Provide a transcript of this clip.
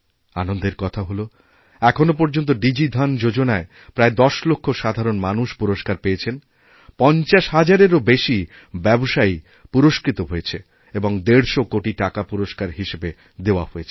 আনন্দের কথা হল এখনও পর্যন্ত ডিজি ধন যোজনায় প্রায় দশ লক্ষ সাধারণ মানুষপুরস্কার পেয়েছেন ৫০ হাজারেরও বেশি ব্যবসায়ী পুরস্কৃত হয়েছে এবং প্রায় দেড়শ কোটিটাকা পুরস্কার হিসেবে দেওয়া হয়েছে